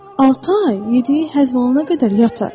Altı ay yediyi həzm olana qədər yatar.